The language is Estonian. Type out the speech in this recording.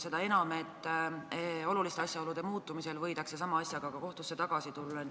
Seda enam, et oluliste asjaolude muutumise korral võidakse sama asjaga kohtusse ka tagasi tulla.